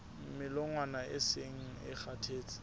melongwana e seng e kgathetse